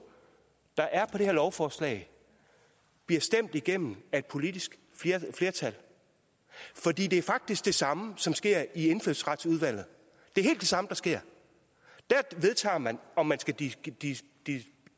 der er på det her lovforslag bliver stemt igennem af et politisk flertal for det er faktisk det samme som sker i indfødsretsudvalget det er helt det samme der sker der vedtager man om man skal give